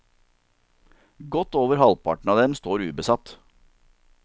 Godt over halvparten av dem står ubesatt.